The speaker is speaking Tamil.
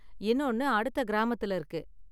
இன்னொன்னு அடுத்த கிராமத்துல இருக்கு.